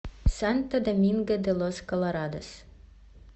санто доминго де лос колорадос